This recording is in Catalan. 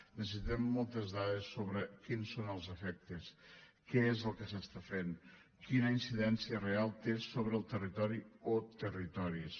necessitem moltes dades sobre quins són els efectes què és el que s’està fent quina incidència real té sobre el territori o territoris